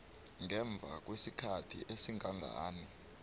ngemva kwesikhathi esingangani